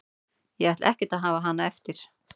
Ég ætla ekkert að hafa hana eftir.